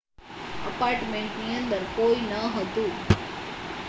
ઍપાર્ટમેન્ટની અંદર કોઈ ન હતું